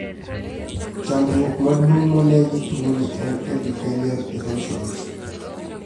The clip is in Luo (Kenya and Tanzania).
Chandruok maduong' monee gi tuo ni en epithelial erosions